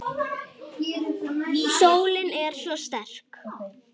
Sólin er svo sterk.